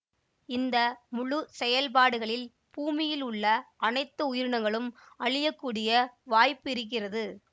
இந்த முழு செயல்பாடுகளில் பூமியிலுள்ள அனைத்து உயிரினங்களும் அழியக்கூடிய வாய்ப்பிருக்கிறது